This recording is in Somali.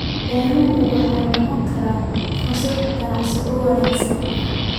Beeruhu waxay noqon karaan fursad ganacsi oo wanaagsan.